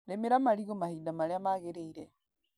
Rĩmĩra marigũ mahinda marĩa magĩrĩire.